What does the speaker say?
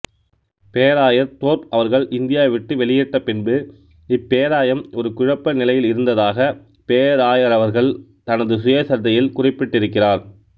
பேராயர் தோர்ப் அவர்கள் இந்தியாவை விட்டு வெளியேற்றபின்பு இப்பேராயம் ஒரு குழப்ப நிலையிலிருந்ததாக பேராயரவர்கள் தனது சுயசரிதையில் குறிப்பிட்டிருக்கிறார்